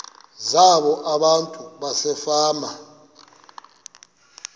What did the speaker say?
zabo abantu basefama